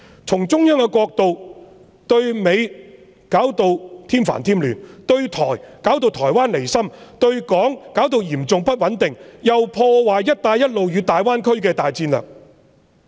從中央的角度看來，對美弄得添煩添亂，對台弄得台灣離心，對港造成嚴重不穩定，又破壞"一帶一路"和大灣區的大戰略。